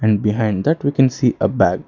And behind that we can see a bag.